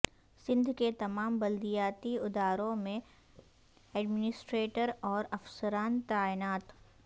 سندھ کے تمام بلدیاتی اداروں میں ایڈمنسٹریٹر اور افسران تعینات